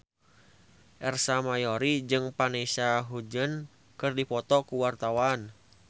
Ersa Mayori jeung Vanessa Hudgens keur dipoto ku wartawan